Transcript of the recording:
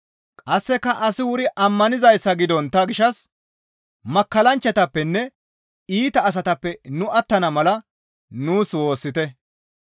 Qasseka asi wuri ammanizayssa gidontta gishshas makkallanchchatappenne iita asatappe nu attana mala nuus woossite.